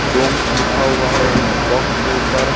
डोम्स लिखा हुआ है एक बॉक्स के ऊपर।